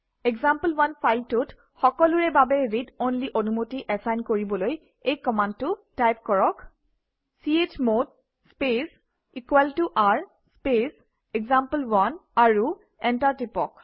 example one ফাইলটোত সকলোৰে বাবে ৰিড অনলি অনুমতি এচাইন কৰিবলৈ এই কমাণ্ডটো টাইপ কৰক - চমদ স্পেচ r স্পেচ এক্সাম্পল1 আৰু এণ্টাৰ টিপক